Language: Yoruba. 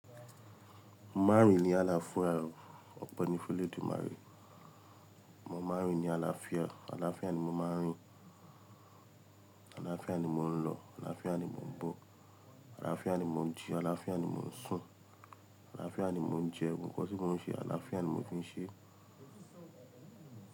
Márìn ni àlàfúàrò, ọ̀pọ̀ ni fẹ́ lódù marìn. Mo máa ń rìn ní àlàáfíà, àlàáfíà ni mo máa ń rìn, àlàáfíà ni mo ń lọ, àlàáfíà ni mò ń bọ̀, àlàáfíà ni mò ń jí, àlàáfíà ni mò ń sùn, àlàáfíà ni mò ń jẹ, gbogbo nkan tí mò ń ṣe àlàáfíà ni mò fi ń ṣe.